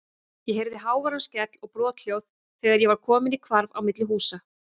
Ég heyrði háværan skell og brothljóð þegar ég var kominn í hvarf á milli húsa.